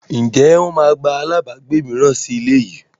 Ǹjẹ́ wọn máa gba àlábagbé mìíràn sì ilé yìí?